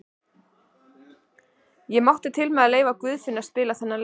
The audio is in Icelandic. Ég mátti til með að leyfa Guðfinni að spila þennan leik.